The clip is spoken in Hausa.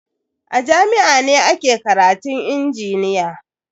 A jami'a ne ake karatun injiniya.